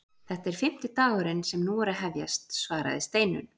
Þetta er fimmti dagurinn sem nú er að hefjast svaraði Steinunn.